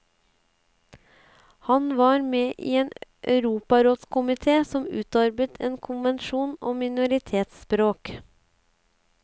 Han var med i en europarådskomité som utarbeidet en konvensjon om minoritetsspråk.